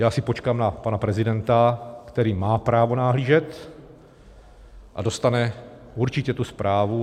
Já si počkám na pana prezidenta, který má právo nahlížet a dostane určitě tu zprávu.